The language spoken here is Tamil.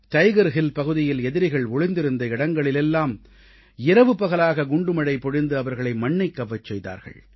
டைகர் ஹில் பகுதியில் எதிரிகள் ஒளிந்திருந்த இடங்களில் எல்லாம் இரவுபகலாக குண்டு மழை பொழிந்து அவர்களை மண்ணைக் கவ்வச் செய்தார்கள்